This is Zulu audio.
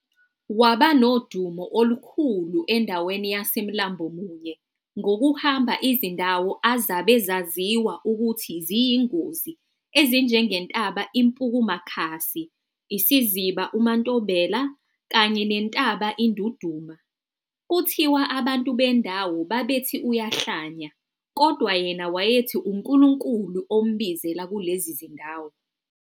Waba nodumo olukhulu endaweni yaseMlambomunye ngokuhamba izindawo azabe zaziwa ukuthi ziyingozi ezinjengentaba iMpukumakhasi, isiziba uMaNtombela kanye nentaba iNdunduma. Kuthiwa abantu bendawo babethi uyahlanya, kodwa yena wayethi uNkulunkulu ombuzela kulezi zindawo.